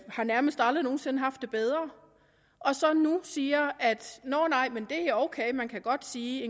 har nærmest aldrig nogen sinde haft det bedre og så nu siger at nå nej man kan godt sige at